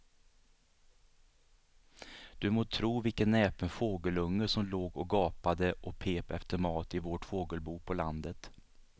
Du må tro vilken näpen fågelunge som låg och gapade och pep efter mat i vårt fågelbo på landet.